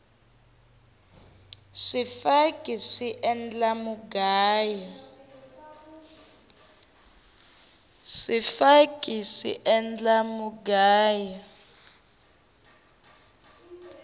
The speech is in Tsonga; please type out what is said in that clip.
swifaki swi endla mugayo